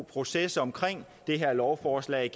proces om det her lovforslag